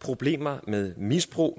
problemer med misbrug